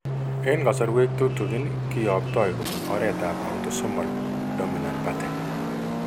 Eng' kasarwek tutikin kiyoptoi kobun oretab autosomal dominant pattern.